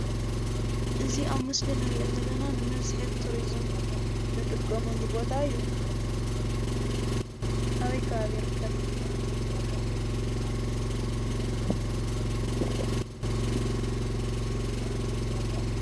እዚ ኣብ ምስሊ ንሪኦ ዘለና ንመስሕብ ቱሪዝም ንጥቀመሉ ቦታ እዩ፡፡ ኣበይ ከባቢ ይርከብ?